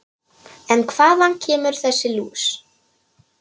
En hvaðan kemur þessi lús?